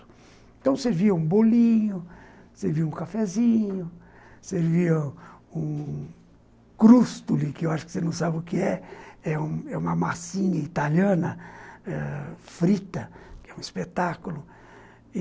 Então servia um bolinho, servia um cafezinho, servia um crostoli, que eu acho que você não sabe o que é. É é uma massinha italiana ãh frita, que é um espetáculo.